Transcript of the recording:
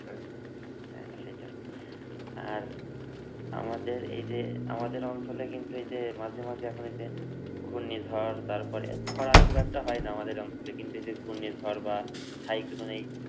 হ্যাঁ সেটায়। আর আমাদের এই যে আমাদের অঞ্চলে কিন্তু এই যে মাঝে মাঝে এখন এই যে ঘুর্ণিঝড় তারপরে খরা খুব একটা হয়না আমাদের অঞ্চলে। কিন্তু এই যে ঘুর্ণিঝড় বা সাইক্লোন এই